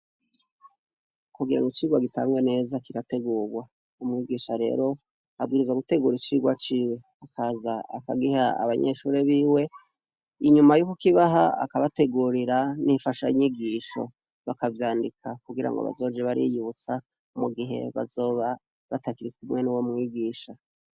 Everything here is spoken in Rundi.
kugira ng’ icigwa gitangwe neza kirategurwa, umwigisha rero abwiriza gutegura icigwa ciwe akaza akagiha abanyeshuri biwe ,inyuma y'uko kibaha akabategurira n'infasha nyigisho, bakavyandika kugira ngo bazoje bariyutsa mu gihe bazoba batakiri kumwe n'uwo mwigisha.